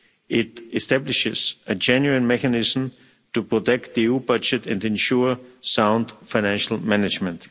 It establishes a genuine mechanism to protect the EU budget and ensure sound financial management.